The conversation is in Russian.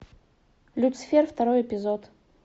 люцифер второй эпизод